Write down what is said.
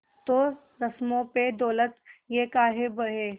तो रस्मों पे दौलत ये काहे बहे